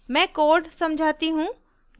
मैं code समझाती हूँ